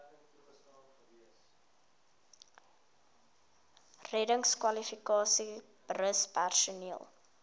reddingskwalifikasies rus personeel